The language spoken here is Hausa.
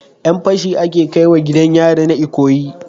Yan fashi ake kaiwa gidan yari na ikoyi